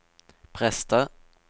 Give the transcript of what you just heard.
prester